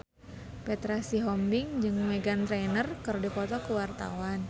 Petra Sihombing jeung Meghan Trainor keur dipoto ku wartawan